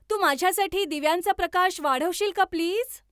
तू माझ्यासाठी दिव्यांचा प्रकाश वाढवशील का प्लीज